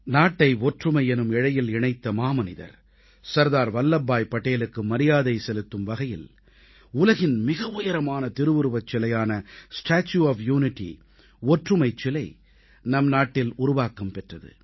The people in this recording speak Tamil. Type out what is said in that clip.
நாட்டை ஒற்றுமை எனும் இழையில் இணைத்த மாமனிதர் சர்தார் வல்லப்பாய் படேலுக்கு மரியாதை செலுத்தும் வகையில் உலகின் மிக உயரமான திருவுருவச் சிலையான ஸ்டாட்யூ ஒஃப் யூனிட்டி ஒற்றுமைச் சிலை நம் நாட்டில் உருவாக்கம் பெற்றது